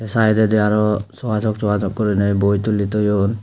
saidedi araw soasok soasok gurinei boi tuli toyon.